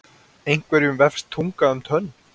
Einhverjum vefst tunga um tönn